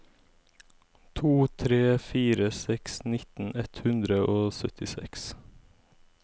to tre fire seks nittien ett hundre og syttiseks